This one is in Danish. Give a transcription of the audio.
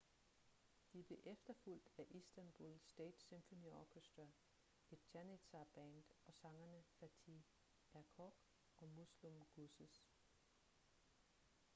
de blev efterfulgt af istanbul state symphony orchestra et janitshar-band og sangerne fatih erkoç og müslüm gürses